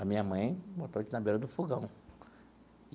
A minha mãe botou a gente na beira do fogão.